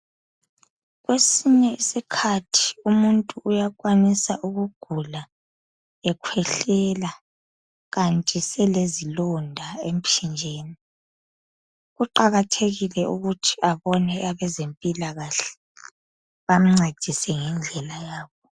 Kwesinye isikhathi umuntu uyakwanisa ukugula ekhwehlela kanti selezilonda emphinjeni kuqakathekile ukuthi abone abezempilakahle bamncedise ngendlela yabo.